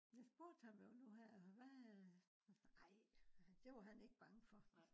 jeg spurgte ham jo nu her hva. ej det var han ikke bange for